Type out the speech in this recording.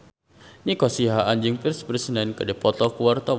Nico Siahaan jeung Pierce Brosnan keur dipoto ku wartawan